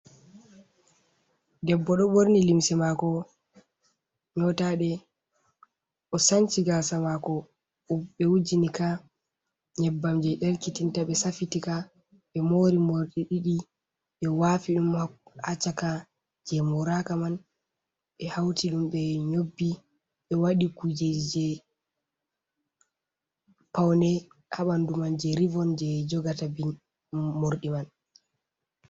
Debbo ɗo borni limse mako nyotaɗe, o sanci gasa mako ɓe wujinika nyebbam je ɗelkitinta, ɓe safitika, ɓe mori mordi ɗiɗi ɓe wafi ɗum ha caka, je moraka man ɓe hauti ɗum ɓe nyobbi ɓe wadi kujeji je paune ha ɓandu man je rivon je jogata morɗi man.